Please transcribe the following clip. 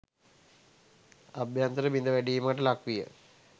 අභ්‍යන්තර බිඳවැටීමකට ලක්විය.